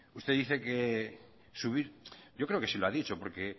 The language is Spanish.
usted dice que subir yo creo que sí lo ha dicho porque